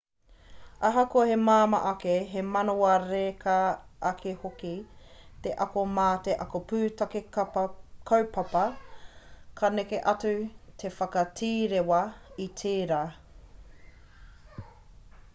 ahakoa me māmā ake me manawa reka ake hoki te ako mā te ako pūtake kaupapa ka neke atu te whakatīrewa i tērā